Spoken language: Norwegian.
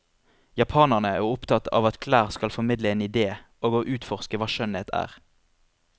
Japanerne er opptatt av at klær skal formidle en idé, og å utforske hva skjønnhet er.